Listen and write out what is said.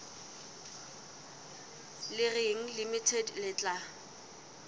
le reng limited le tla